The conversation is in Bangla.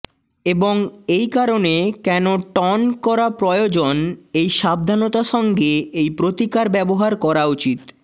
এবং এই কারণে কেন টন করা প্রয়োজন এই সাবধানতা সঙ্গে এই প্রতিকার ব্যবহার করা উচিত